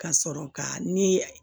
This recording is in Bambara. Ka sɔrɔ ka ni